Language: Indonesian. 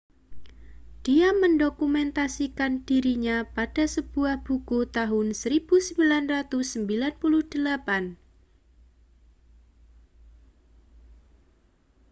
dia mendokumentasikan dirinya pada sebuah buku tahun 1998